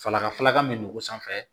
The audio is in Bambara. Falaka falaka min don o sanfɛ